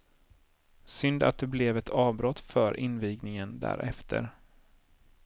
Synd att det blev ett avbrott för invigningen därefter.